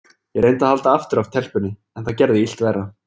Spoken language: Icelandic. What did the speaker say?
Ég reyndi að halda aftur af telpunni, en það gerði illt verra.